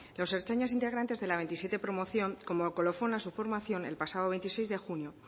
los ertzainas integrantes de la veintisiete promoción como colofón a su formación el pasado veintiséis de junio